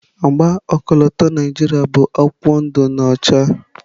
Agba ọkọlọtọ Naijiria bụ akwụkwọ ndụ na ọcha.